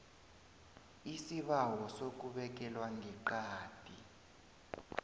isibawo sokubekelwa ngeqadi